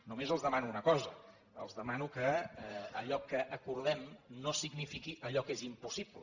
només els demano una cosa els demano que allò que acordem no signifiqui allò que és impossible